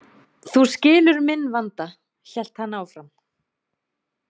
Þú skilur minn vanda, hélt hann áfram.